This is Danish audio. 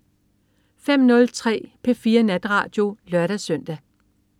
05.03 P4 Natradio (lør-søn)